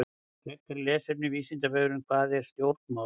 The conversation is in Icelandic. Frekara lesefni á Vísindavefnum: Hvað eru stjórnmál?